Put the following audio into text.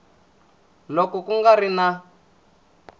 loko ku nga ri na